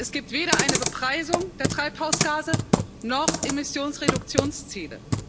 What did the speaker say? Es gibt weder eine Bepreisung der Treibhausgase noch Emissionsreduktionsziele.